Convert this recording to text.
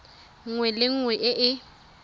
nngwe le nngwe e e